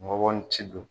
Ngɔbɔbɔ ni ci don